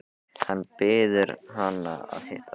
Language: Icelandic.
Hann biður hana að hitta sig.